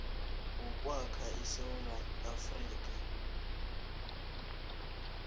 wokwakha isewula afrika